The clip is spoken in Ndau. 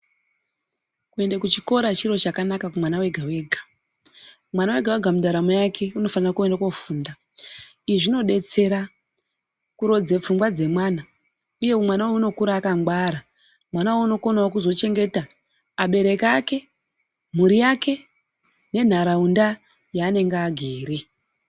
Kuende kuchikora chinhu chakanaka kumwana wega wega ,mwana wega wega muntaramo yake unofanira kuende kofunda, izvi zvinodetsera kurodze pfungwa dzemwana uye mwana unokura akangwara mwana unokonewo kuzochengeta abereki ake, mhuri yake nentaraunda yaanenge agere.